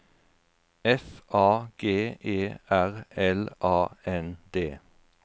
F A G E R L A N D